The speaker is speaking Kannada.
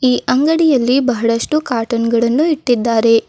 ಈ ಅಂಗಡಿಯಲ್ಲಿ ಬಹಳಷ್ಟು ಕಾಟನ್ ಗಳನ್ನು ಇಟ್ಟಿದ್ದಾರೆ.